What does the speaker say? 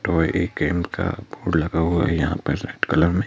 तो ये गेम का बोर्ड लगा हुआ है यहां पर रेड कलर में--